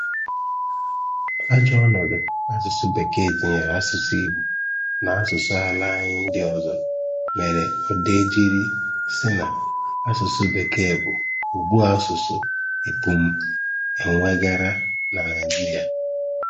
Ajọ ọnọdụ asụsụ Bekee tinyere asụsụ Igbo na asụsụ ala anyị ndị ọzọ mere Odeh jiri sị na asụsụ Bekee bụ ogbu asụsụ e pụm e nwe gara na Naịjiria.